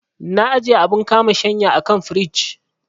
Na ajiye abun kama shanya a kan firij.